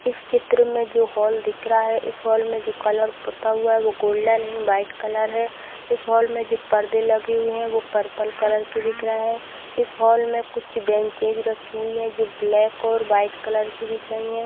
इस चित्र मे हॉल दिख रहा है इस हॉल में जो कलर पुता हुआ है वो गोल्डन एंड वाइट कलर है इस हॉल में जो परदे लगे हुए है वो पर्पल कलर के दिख रहे हैं इस हॉल में कुछ बेंचे भी लगी हुई है जो ब्लैक और वाइट कलर की दिख रही हैं।